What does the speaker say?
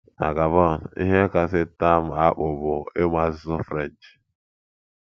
Na Gabon, ihe kasị taa m akpụ bụ ịmụ asụsụ French.